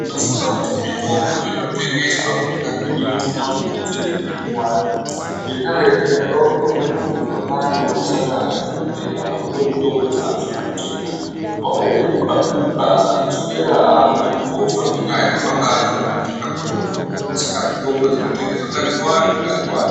Ndinofunga kuti mitombo inotengeswa munyika medu inofanira kuti wedzerwei iwande ngenda yekuti ndakaiona umweni muntu wanga anosangana nadhokodheya akapuwe mutombo dzaanofana kutenga wakaitei bukapuka akazoswera akude kutofa ngenda yekuti wanga atama pekutenga mutombo Saka mitombo dzinotengeswa ngadziwande ngadziwande.